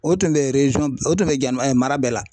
O tun bɛ o tun bɛ mara bɛɛ la